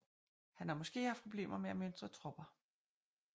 Han har måske haft problemer med at mønstre tropper